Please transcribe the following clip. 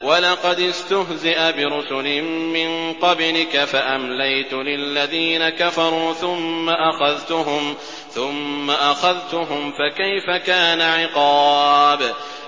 وَلَقَدِ اسْتُهْزِئَ بِرُسُلٍ مِّن قَبْلِكَ فَأَمْلَيْتُ لِلَّذِينَ كَفَرُوا ثُمَّ أَخَذْتُهُمْ ۖ فَكَيْفَ كَانَ عِقَابِ